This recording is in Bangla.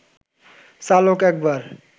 চালক একবার